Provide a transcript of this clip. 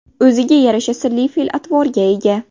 O‘ziga yarasha sirli fe’l-atvorga ega.